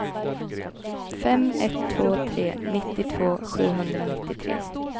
fem ett två tre nittiotvå sjuhundranittiotre